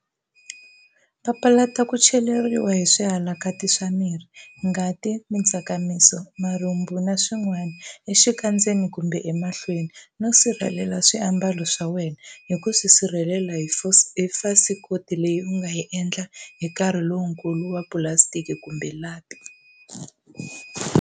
Papalata ku cheriwa hi swihalaki swa miri, ngati, mitsakamiso, marhumbu, na swin'wana, exikandzeni kumbe emahlweni, no sirhelelela swiambalo swa wena hi ku swi sirhelela hi fasikoti leyi u nga yi endla hi nkarhi lowukulu wa pulasitiki kumbe lapi.